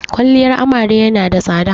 Kwaliyar amare ya na da tsada